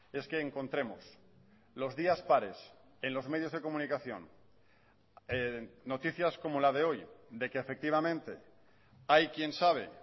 es que encontremos los días pares en los medios de comunicación noticias como la de hoy de que efectivamente hay quien sabe